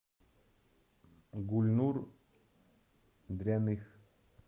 гульнур дряных